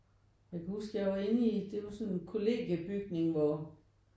Jeg kan huske jeg var inde i det er jo sådan en kollegiebygning hvor